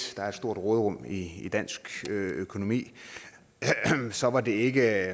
der er et stort råderum i dansk økonomi så var det ikke